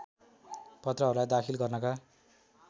पत्रहरूलाई दाखिल गर्नका